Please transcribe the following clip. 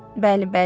Bəli, bəli.